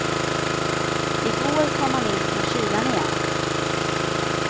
I går kom han in från kylan igen.